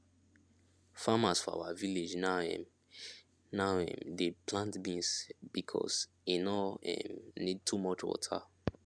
farmers for our village now um now um dey plant beans because e no um need too much water